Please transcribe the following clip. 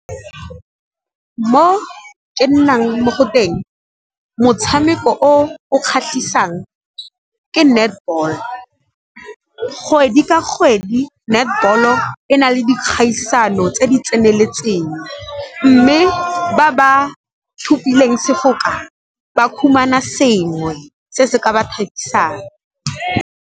Mo ke nnang mo go teng motshameko o o kgatlhisang ke netball. Kgwedi ka kgwedi netball-o e na le dikgaisano tse di tseneletseng, mme ba ba sefoka ba fumana sengwe se se ka ba thabisang.